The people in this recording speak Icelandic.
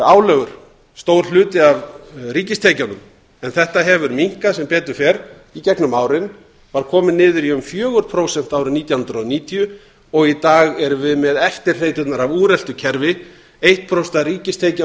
álögur stór hluti af ríkistekjunum en þetta hefur minnkað sem betur fer í gegnum árin var komið niður í um fjögur prósent árið nítján hundruð og níutíu og í dag erum við með eftirhreyturnar af úreltu kerfi eitt prósent af ríkistekjunum